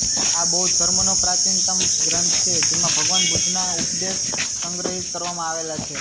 આ બૌદ્ધ ધર્મનો પ્રાચીનતમ ગ્રંથ છે જેમાં ભગવાન બુદ્ધના ઉપદેશ સંગ્રહિત કરવામાં આવેલા છે